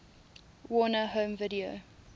warner home video